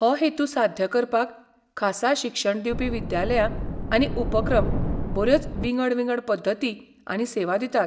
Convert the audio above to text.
हो हेतू साध्य करपाक खासा शिक्षण दिवपी विद्यालयां आनी उपक्रम बऱ्योच विंगड विंगड पद्दती आनी सेवा दितात.